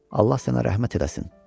Allah sənə rəhmət eləsin.